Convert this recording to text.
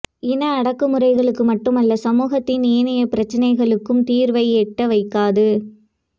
இன அடக்குமுறைகளுக்கு மட்டுமல்ல சமூகத்தின் ஏனைய பிரச்சினைகளுக்கும் தீர்வை எட்ட வைக்காது